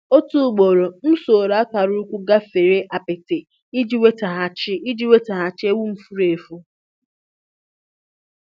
Otu ugboro m soro akara ụkwụ gafere apịtị iji nwetaghachi iji nwetaghachi ewu m furu efu.